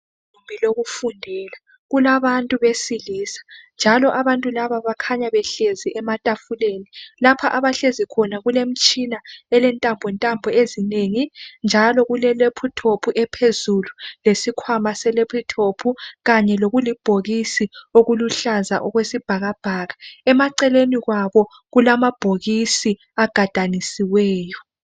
Ibhili lokufundela. Kulabantu besilisa, njalo abantu laba bakhanya behlezi ematafuleni. Lapho abahlezi khona kulemitshina, elentambontambo ezinengi, njalo kule lephuthophu phezulu. Lesikhwama selephuthophu. Kanye lokulibhokisi okuluhlaza okwesibhakabhaka. Emaceleni kwabo, kulamabhokisi agadanisiweyo.